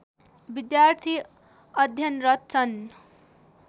विद्यार्थी अध्यनरत छन्